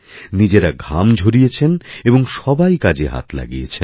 নিজেরা ঘামঝরিয়েছেন এবং সবাই কাজে হাত লাগিয়েছেন